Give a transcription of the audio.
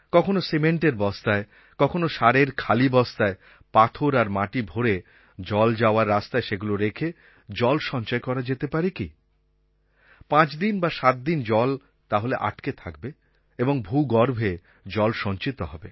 কখনও সিমেন্টের বস্তায় কখনও সারের খালি বস্তায় পাথর আর মাটি ভরে জল যাওয়ার রাস্তায় সেগুলো রেখে জল সঞ্চয় করা যেতে পারে কি পাঁচদিন বা সাতদিন জল তাহলে আটকে থাকবে এবং ভূগর্ভে জল সঞ্চিত হবে